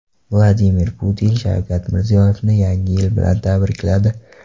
Vladimir Putin Shavkat Mirziyoyevni Yangi yil bilan tabrikladi.